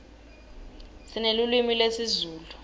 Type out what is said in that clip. sinelulwimi lezulu